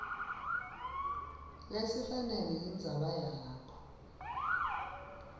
lesifanele indzaba yakho